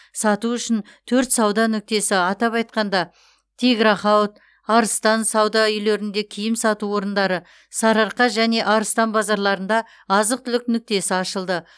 сату үшін төрт сауда нүктесі атап айтқанда тиграхауд арыстан сауда үйлерінде киім сату орындары сарыарқа және арыстан базарларында азық түлік нүктесі ашылды